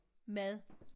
Mad